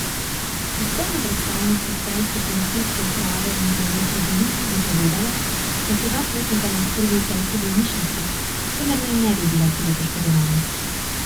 Tiskovna predstavnica celjske policijske uprave Milena Trbulin je povedala, da sta dva potnika na oskrbi v celjski bolnišnici, vendar naj ne bi bila hudo poškodovana.